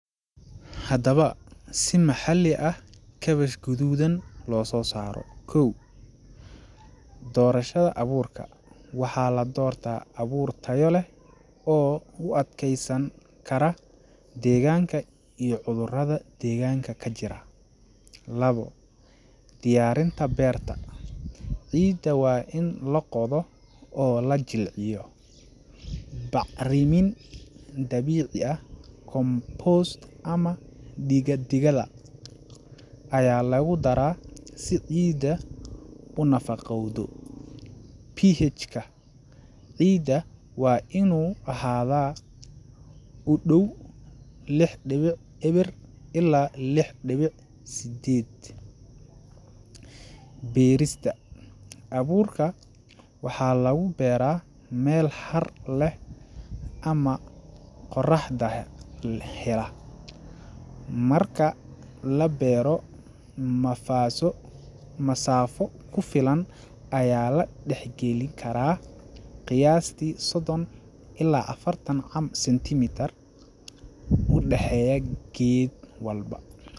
Haddaba, si maxalli ah kaabash guduudan loo soo saaro: Koow; Doorashada Abuurka: Waxaa la doortaa abuur tayo leh oo u adkeysan kara deegaanka iyo cudurada deegaanka ka jira. Lawo; Diyaarinta Beerta: Ciidda waa in la qodo oo la jilciyo. Bacrimin dabiici ah compost ama digada ayaa lagu daraa si ciidda u nafaqowdo. pH ka ciidda waa inuu ahaadaa u dhow lix dhiwic ewer ilaa lix dhiwic sedded. Beerista:Abuurka waxaa lagu beeraa meel har leh ama qorraxda hela. Marka la beero, masaaso, masaafo ku filan ayaa la dhexgeli karaa qiyaasti soddon ilaa afartan centimeter u dhexeeya geed walba.